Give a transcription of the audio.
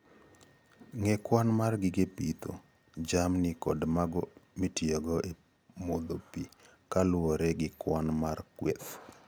Ng'e kwan mar gige pidho jamni kod mago mitiyogo e modho pi kaluwore gi kwan mar kweth